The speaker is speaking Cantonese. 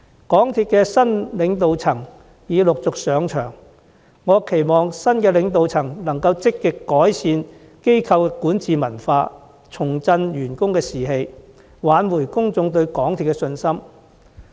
港鐵公司的新領導層已陸續上場，我期望新領導層能積極改善機構的管治文化，重振員工士氣，挽回公眾對港鐵公司的信心。